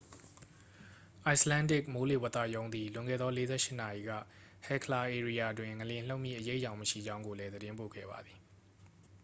icelandic မိုးလေဝသရုံးသည် လွန်ခဲ့သော 48 နာရီက hekla ဧရိယာတွင် ငလျင်လှုပ်မည့်အရိပ်အယောင်မရှိကြောင်းကိုလည်း သတင်းပို့ခဲ့ပါသည်